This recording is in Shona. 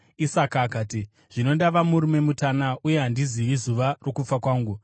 Isaka akati, “Zvino ndava murume mutana uye handizivi zuva rokufa kwangu.